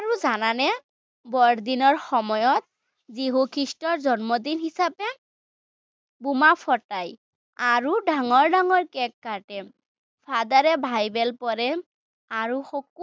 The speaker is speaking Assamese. আৰু জানানে, বৰদিনৰ সময়ত যীশু খ্ৰীষ্টৰ জন্মদিন হিচাপে বোমা ফুটায়, আৰু ডাঙৰ ডাঙৰ কেক্ কাটে। father এ বাইবেল পঢ়ে আৰু